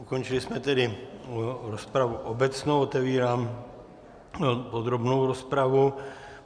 Ukončili jsme tedy rozpravu obecnou, otevírám podrobnou rozpravu.